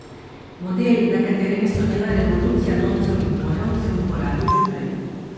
Model, na katerem je slonela revolucija loncev in ponev, sem uporabil že prej.